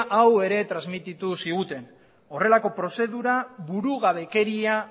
hau ere transmititu ziguten horrelako prozedura burugabekeria